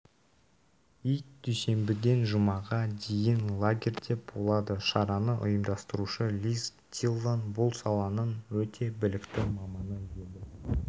ит дүйсенбіден жұмаға дейін лагерьде болады шараны ұйымдастырушы лиз диллон бұл саланың өте білікті маманы еді